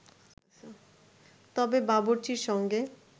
তবে বাবুর্চির সঙ্গে